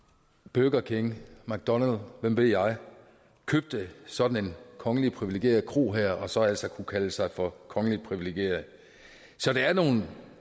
burger king mcdonalds hvem ved jeg købte sådan en kongeligt privilegeret kro og så altså kunne kalde sig for kongeligt privilegeret så der er nogle